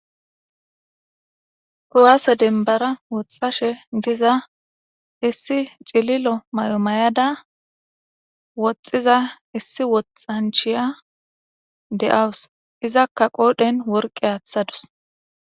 Kuwaase denbara woxxashe diza issi cililo may7omayada woxxiza issi woxxanchiya de7awus izakka qoodhen worqe aaththadus.